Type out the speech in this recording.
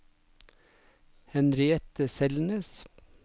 Henriette Selnes